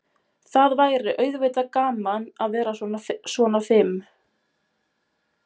Það væri auðvitað gaman að vera svona fim.